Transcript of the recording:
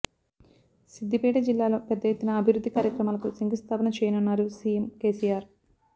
సిద్ధిపేట జిల్లాలో పెద్ద ఎత్తున అభివృద్ధి కార్యక్రమాలకు శంకుస్థాపన చేయనున్నారు సీఎం కేసీఆర్